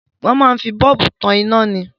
Wọn máa ń fi bọ́ọ̀bù tan ina ni.